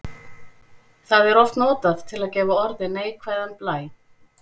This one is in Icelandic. Það er oft notað til að gefa orði neikvæðan blæ.